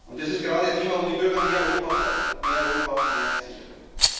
Das ist gerade ein Thema, wo die Bürger mehr Europa fordern mehr Europa, mehr Sicherheit.